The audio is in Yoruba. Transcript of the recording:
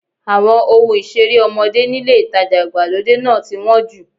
Àwọn ohun ìṣeré ọmọdé nílé ìtajà ìgbàlódé náà ti wọ́n jù.